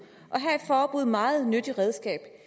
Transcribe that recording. og her er et forbud et meget nyttigt redskab